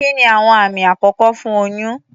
Kí ni àwọn àmì àkọ́kọ́ fún oyún?